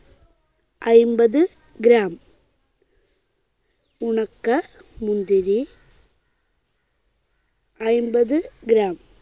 അയ്ൻപത് gram. ഉണക്ക മുന്തിരി അയ്ൻപത് gram.